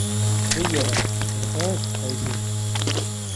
Teyiera irpaek taisere.